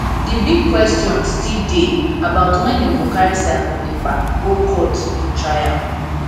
di big kwestions still dey about wen dem go carry simon ekpa go court for trial